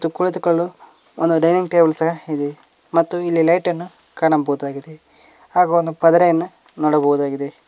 ಕುಳಿತುಕೊಳ್ಳಲು ಒಂದು dining table ಸಹ ಇದೆ ಮತ್ತು ಇಲ್ಲಿ ಲೈಟನ್ನು ಕಾಣಬಹುದಾಗಿದೆ ಹಾಗು ಒಂದು ಪದರೆಯನ್ನು ನೋಡಬಹುದಾಗಿದೆ.